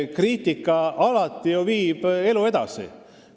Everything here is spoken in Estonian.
Kriitika viib alati elu edasi.